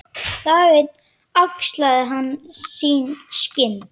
Það er mynd af henni þarna.